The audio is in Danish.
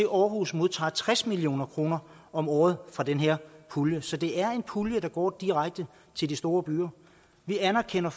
aarhus modtager tres million kroner om året fra den her pulje så det er en pulje der går direkte til de store byer vi anerkender